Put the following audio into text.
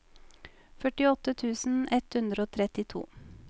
førtiåtte tusen ett hundre og trettito